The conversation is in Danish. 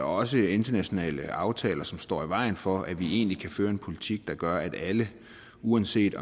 også internationale aftaler som står i vejen for at vi kan føre en politik der gør at alle uanset